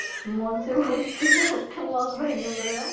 মঞ্চে উঠতে উঠতে মঞ্চ ভেঙে পরে যায়